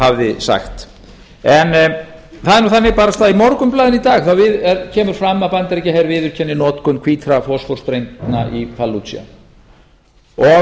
hafði sagt en það er nú þannig að barasta í morgunblaðinu í dag kemur fram að bandaríkjaher viðurkenni notkun hvítra fosfórsprengna í falluja og